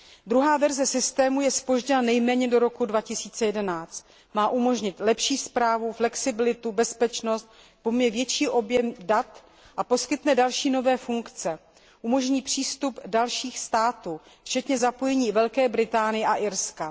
Druhá verze systému je zpožděna nejméně do roku 2011. Má umožnit lepší správu, flexibilitu, bezpečnost, pojme větší objem dat a poskytne další nové funkce. Umožní přístup dalších států včetně zapojení Velké Británie a Irska.